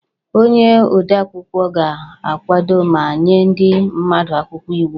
Onye odeakwụkwọ ga-akwado ma nye ndị mmadụ akwụkwọ iwu